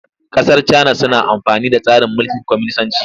Ƙasar Cana suna amfani da tsarin mulkin kwaminisanci.